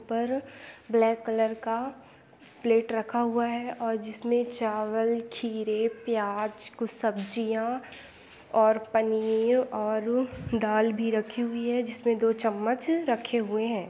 पर black colour का plate रखा हुआ है आ जिसमे चावल खिरे प्याज कुछ सब्जिया और पनीव आरु दाल भी रखी हुई है जिसमे दो चम्मच रखे हुए है।